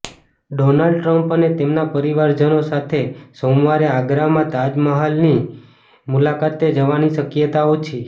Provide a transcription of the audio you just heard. Donald Trump અને તેમના પરિવારજનો સાથે સોમવારે આગ્રામાં તાજમહાલની મુલાકાતે જવાની શક્યતા ઓછી